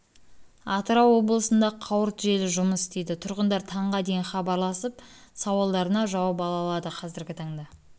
атырау облысында қауырт желі жұмыс істейді тұрғындар таңғы дейін хабарласып сауалдарына жауап ала алады қазіргі таңда